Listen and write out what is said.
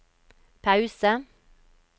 pause